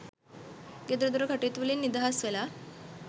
ගෙදර දොර කටයුතු වලින් නිදහස් වෙලා